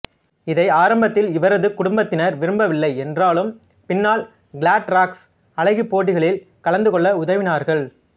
இதை ஆரம்பத்தில் இவரது குடும்பத்தினர் விரும்பவில்லை என்றாலும் பின்னர் கிளாட்ராக்ஸ் அழகிப் போட்டிகளில் கலந்து கொள்ள உதவினார்கள்